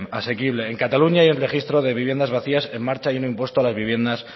asequible en cataluña hay un registro de viviendas vacías y un impuesto a las viviendas